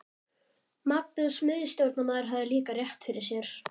Magnús miðstjórnarmaður hafði líka rétt fyrir sér.